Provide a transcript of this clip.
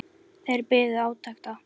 Þeir biðu átekta.